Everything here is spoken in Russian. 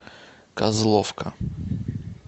козловка